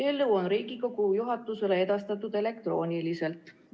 Eelnõu on Riigikogu juhatusele edastatud elektrooniliselt.